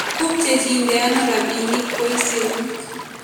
Kopchechinde ano rapinik boisyonik?